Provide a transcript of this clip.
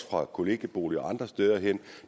fra kollegieboliger og andre steder hen